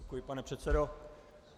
Děkuji, pane předsedo.